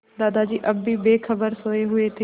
दादाजी अब भी बेखबर सोये हुए थे